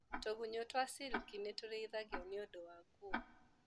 Tũgunyũ twa silki nĩtũrĩithagio nĩũndũ wa nguo.